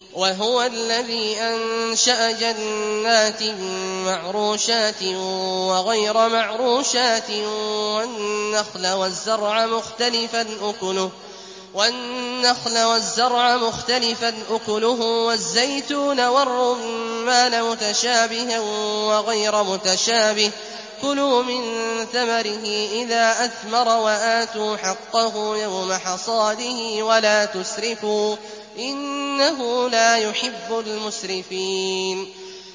۞ وَهُوَ الَّذِي أَنشَأَ جَنَّاتٍ مَّعْرُوشَاتٍ وَغَيْرَ مَعْرُوشَاتٍ وَالنَّخْلَ وَالزَّرْعَ مُخْتَلِفًا أُكُلُهُ وَالزَّيْتُونَ وَالرُّمَّانَ مُتَشَابِهًا وَغَيْرَ مُتَشَابِهٍ ۚ كُلُوا مِن ثَمَرِهِ إِذَا أَثْمَرَ وَآتُوا حَقَّهُ يَوْمَ حَصَادِهِ ۖ وَلَا تُسْرِفُوا ۚ إِنَّهُ لَا يُحِبُّ الْمُسْرِفِينَ